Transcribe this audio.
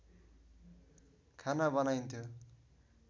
खाना बनाइन्थ्यो